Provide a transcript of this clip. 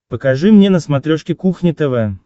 покажи мне на смотрешке кухня тв